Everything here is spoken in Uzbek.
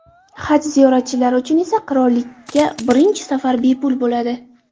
Haj ziyoratchilari uchun esa qirollikka birinchi safar bepul bo‘ladi.